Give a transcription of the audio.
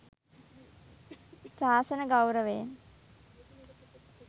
ශාසන ගෞරවයෙන්